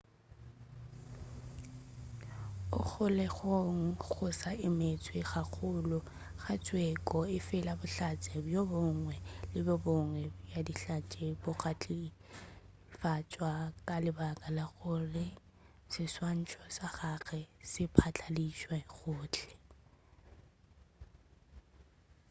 o kgolegong go sa emetšwe kahlolo le tsheko efela bohlatse bjo bongwe le bjo bongwe bja dihlatse bo ka tšhilafatšwa ka lebaka la gore seswantšho sa gagwe se phatlaladitšwe gohle